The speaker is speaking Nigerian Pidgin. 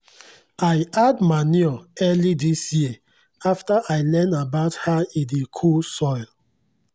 i add manure early this year after i learn about how e dey cool soil.